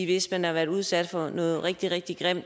hvis man har udsat nogen for noget rigtig rigtig grimt